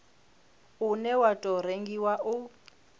une wa tou rengiwa u